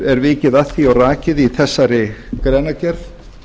er vikið að því og rakið í þessari greinargerð